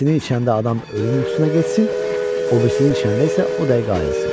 Birisinin içəndə adam ölüm yuxusuna getsin, o birisinin içəndə isə o da ayırısın.